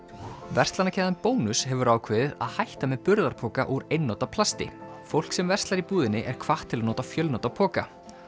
verslanakeðjan Bónus hefur ákveðið að hætta með burðarpoka úr einnota plasti fólk sem verslar í búðinni er hvatt til að nota fjölnota poka